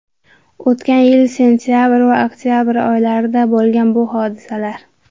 O‘tgan yil sentabr va oktabr oylarida bo‘lgan bu hodisalar.